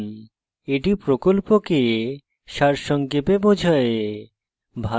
এটি প্রকল্পকে সারসংক্ষেপে বোঝায়